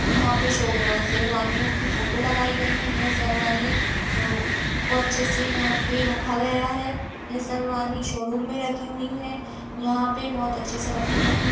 यहाँ पे शो ओ शेरवानियों की फोटो लगायी गई है। ये शेरवानी आ को अच्छे से यहाँ पे रखा गया है। ये शेरवानी शोरूम मे रखी हुई है। यहाँ पे बोहोत अच्छे से रखी गई हैं।